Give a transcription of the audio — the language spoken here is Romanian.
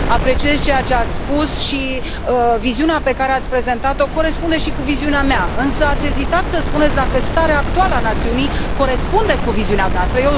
Apreciez ceea ce ați spus și viziunea pe care ați prezentat o corespunde și cu viziunea mea, însă, ați ezitat să spuneți dacă starea actuală a națiunii corespunde cu viziunea dumneavoastră.